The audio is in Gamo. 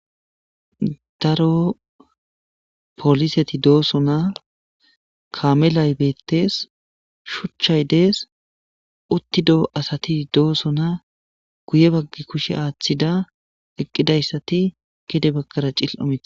daro poliseti dooso na kamelay beettes shuchchay dees uttidoo asati dooso na guye baggi kushe aaththida eqqidayssati gide bakkara cil7omeide